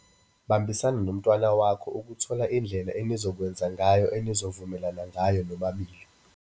Bambisana nomntwana wakho ukuthola indlela enizokwenza ngayo enivumelana ngayo nobabili.